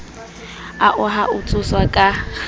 ao a ho tshoswa ka